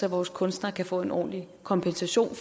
at vores kunstnere kan få en ordentlig kompensation